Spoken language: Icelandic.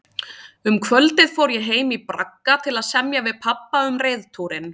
Um kvöldið fór ég heim í bragga til að semja við pabba um reiðtúrinn.